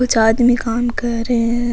कुछ आदमी काम कर रे है।